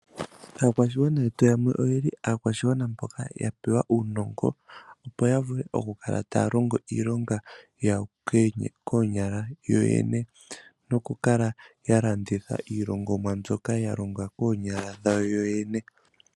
Aakwashigwana yetu yamwe oyeli aakwashigwana mboka yapewa uunongo opo yavule okukala taya longo iilonga yawo koonyala yoyene nokukala yalanditha iilongomwa mbyoka yalongwa koonyala dhawo yoyene.